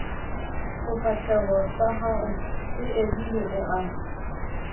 sefahlehosahao se edile o a